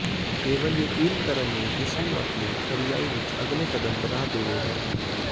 ਕੇਵਲ ਯਕੀਨ ਕਰਨ ਲਈ ਇਸ ਨੂੰ ਆਪਣੀ ਖਰਿਆਈ ਵਿਚ ਅਗਲੇ ਕਦਮ ਬਣਾ ਦੇਵੇਗਾ